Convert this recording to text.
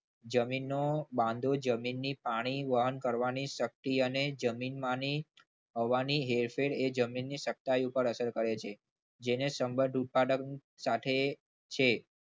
જમીનમાં નો બાંધો જમીનની પાણી વહન કરવાની શક્તિ અને જમીન માની હવાની હેરફેર અને જમીનની સત્તા ઉપર અસર કરે છે. જે જેને સંબંધ ઉત્પાદક સાથે છે.